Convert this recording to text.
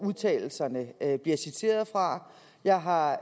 udtalelserne bliver citeret fra jeg har